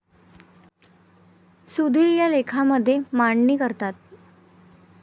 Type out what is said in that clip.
सुधीर या लेखामध्ये मांडणी करतात.